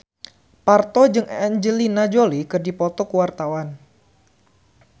Parto jeung Angelina Jolie keur dipoto ku wartawan